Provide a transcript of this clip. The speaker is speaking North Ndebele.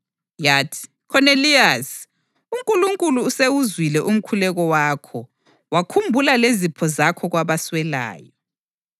yathi, ‘Khoneliyasi, uNkulunkulu usewuzwile umkhuleko wakho wakhumbula lezipho zakho kwabaswelayo.